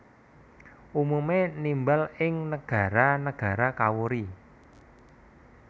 Umume nimbal ing negara negara kawuri